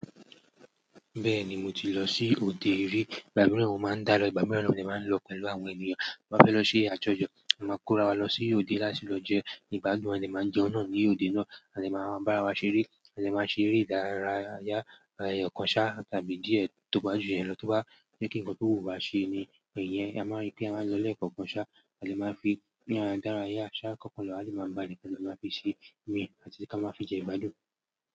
Bẹ́ẹ̀ni mo ti lọ sí òde rí, ìgbà mìíràn mo máa ń dá lọ, ìgbà mìíràn mo de máa ń lọ pẹ̀lú àwọn ènìyàn. Ta ba fẹ́ lọ ṣe àjọjọ, a máa kóra wa lọ sí òde láti lọ jẹ ìgbádùn, a lè máa jẹun náà ní òde náà, a lè máa bá ara wa ṣeré, a lè máa ṣeré ìdárayá, ẹ̀yọ̀ kan sá tàbí díẹ̀ tó bá ju ìyen lọ́ bá jẹ́ kí ǹkan tó wù wá ṣe ni ẹ̀yẹn, a máa rí pé a máa lọ lé kan kan sá, a lè máa fi ìyàn dárayá ṣá kọ́kọ́ lọ, a lè máa bá ẹ̀ni kan lọ máa fi ṣe imí, àti kí a máa fi jẹ ìgbádùn.